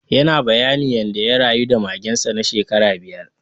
Yana bayani yanda ya rayu da magen sa na shekara biyar.